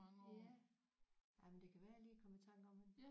Ja jamen det kan være jeg lige kommer i tanke om hende